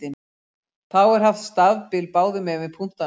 Þá er haft stafbil báðum megin við punktana.